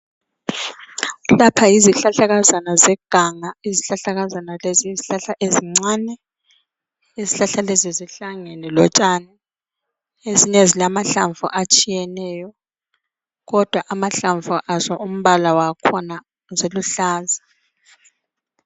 Lapha yizihlahlakazana zeganga. Izihlahlakazana lezi yizihlahla ezincani . Izihlahla lezi zihlangene lotshani . Ezinye zilamahlamvu atshiyeneyo kodwa amahlamvu aso umbala wakhona ziluhlaza.